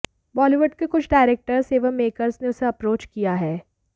बॉलीवुड के कुछ डायरेक्टर्स एवं मेकर्स ने उसे अप्रोच किया है